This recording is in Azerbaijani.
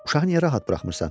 Uşağı niyə rahat buraxmırsan?